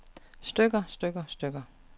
stykker stykker stykker